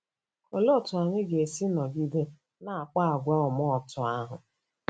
Olee otú anyị ga-esi nọgide na-akpa àgwà ọma otú ahụ?